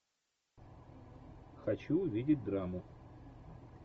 хочу увидеть драму